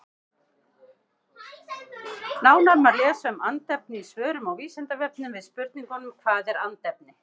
Nánar má lesa um andefni í svörum á Vísindavefnum við spurningunum Hvað er andefni?